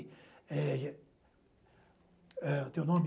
É, e é, eh o teu nome?